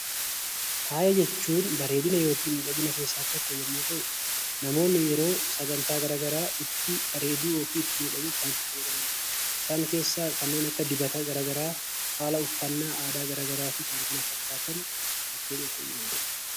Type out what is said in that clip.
Faaya jechuun bareedina yookiin miidhagina keessaa tokko yommuu ta'u, namoonni yeroo sagantaa garaagaraa itti bareeduu fi itti miidhaguuf kan itti fayyadamanidha. Isaan keessaa kanneen akka dibata garaagaraa haala uffannaa aadaa garaagaraa fi kan kana fakkaatan ta'uu danda'a.